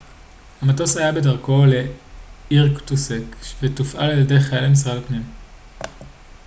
המטוס היה בדרכו לאירקוטסק ותופעל על ידי חיילי משרד הפנים